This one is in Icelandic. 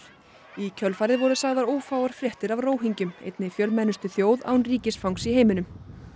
í kjölfarið voru sagðar ófáar fréttir af einni fjölmennustu þjóð án ríkisfangs í heiminum